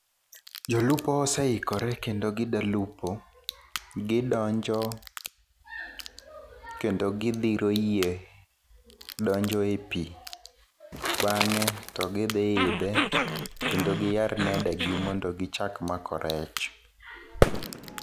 Jolupo oseikore kendo gidwa lupo, gidonjo kendo gidhiro yie donjo e pi, bangé to gidhi idhe kendo giyar nede go mondo gichak mako rech.